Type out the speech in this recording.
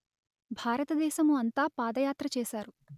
భారతదేశము అంతా పాదయాత్ర చేశారు